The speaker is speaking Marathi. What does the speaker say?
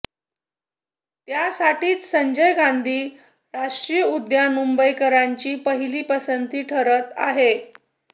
त्यासाठीच संजय गांधी राष्ट्रीय उद्यान मुंबईकरांची पहिली पसंती ठरत आहे